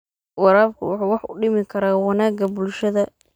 Waraabku wuxuu wax u dhimi karaa wanaagga bulshada.